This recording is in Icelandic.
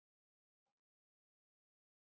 Eða var það ekki?